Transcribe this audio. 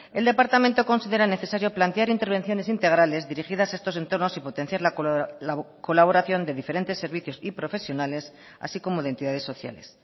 el departamento considera necesario plantear intervenciones integrales dirigidas a estos entornos y potenciar la colaboración de diferentes servicios y profesionales así como de entidades sociales